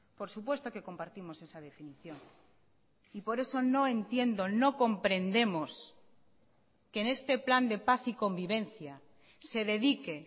por supuesto que compartimos esa definición y por eso no entiendo no comprendemos que en este plan de paz y convivencia se dedique